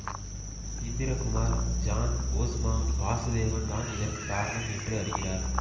இந்திர Kumar John Osma Vasudevan தான் இதற்கு காரணம் என்று அறிகிறார்